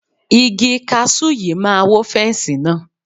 Igi kasú yìí máa wó fẹ́nsì náà.